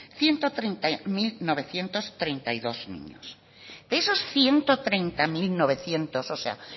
ciento treinta mil novecientos treinta y dos niños de esos ciento treinta mil novecientos o sea